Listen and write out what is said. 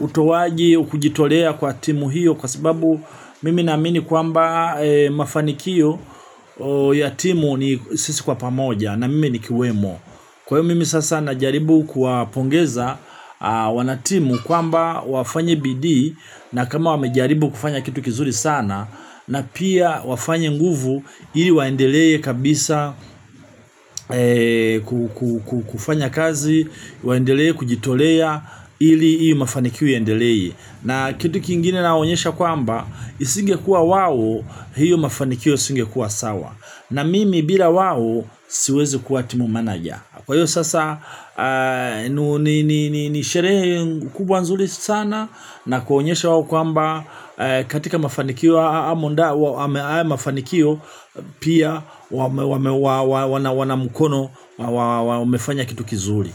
utowaji kujitolea kwa timu hiyo kwa sababu mimi namini kwamba mafanikio ya timu ni sisi kwa pamoja na mimi nikiwemo kwa hiyo mimi sasa najaribu kuwapongeza wanatimu kwamba wafanye bidii na kama wamejaribu kufanya kitu kizuri sana na pia wafanye nguvu ili waendelee kabisa kufanya kazi, waendelee kujitolea ili hii mafanikio yaendelee. Na kitu kingine nawaonyesha kwamba, isingekuwa wao, hiyo mafanikio isingekuwa sawa. Na mimi bila wao, siwezi kuwa timu meneja. Kwa hiyo sasa, nisherehe kubwa nzuri sana na kuonyesha wao kwamba, katika mafanikio haya mafanikio pia, wana mkono, wamefanya kitu kizuri.